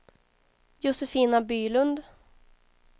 Josefina Bylund